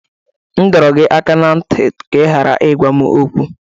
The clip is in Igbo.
M dọrọ gị aka ná ntị ka ị ghara ịgwa m okwu!